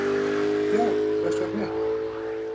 Já, hvers vegna ekki?